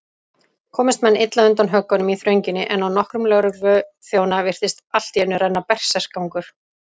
Komust menn illa undan höggunum í þrönginni, en á nokkra lögregluþjóna virtist alltíeinu renna berserksgangur.